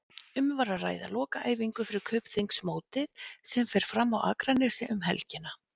Um var að ræða lokaæfingu fyrir Kaupþings mótið sem fer fram á Akranesi um helgina.